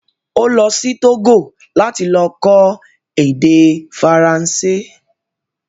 Ó lọ sí Tógò láti lọ kọ́ èdè Faransé